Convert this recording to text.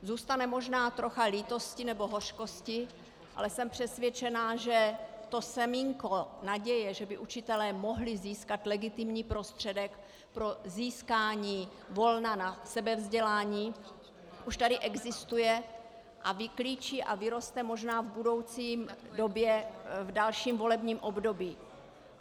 Zůstane možná trocha lítosti nebo hořkosti, ale jsem přesvědčená, že to semínko naděje, že by učitelé mohli získat legitimní prostředek pro získání volna na sebevzdělání, už tady existuje a vyklíčí a vyroste možná v budoucí době v dalším volebním období.